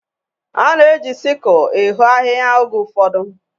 A na-eji siku ehoo ahịhịa oge ụfọdụ.